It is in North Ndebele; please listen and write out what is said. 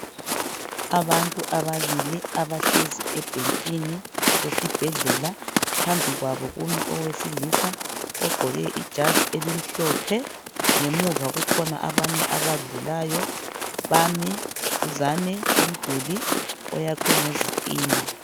Abantu ababili abahlezi ebhentshini esibhedlela, phambi kwabo kumi owesilisa ogqoke ijazi elimhlophe, ngemuva kukhona abanye abadlulayo bame duzane komduli oyakhwe ngezitina.